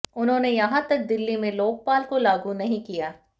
उन्होंने यहां तक दिल्ली में लोकपाल को लागू नहीं किया